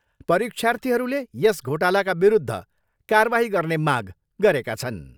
परीक्षार्थीहरूले यस घोटालाका विरूद्ध कारबाही गर्ने माग गरेका छन्।